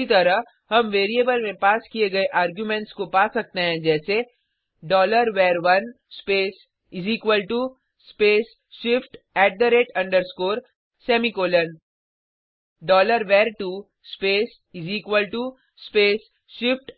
इसी तरह हम वेरिएबल में पास किये गये आर्गुमेंट्स को पा सकते हैं जैसे var1 space space shift semicolon var2 space space shift